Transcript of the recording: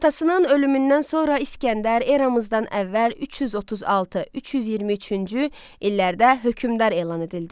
Atasının ölümündən sonra İsgəndər eramızdan əvvəl 336-323-cü illərdə hökmdar elan edildi.